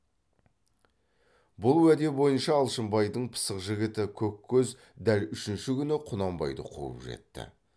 бұл уәде бойынша алшынбайдың пысық жігіті көккөз дәл үшінші күні құнанбайды қуып жетті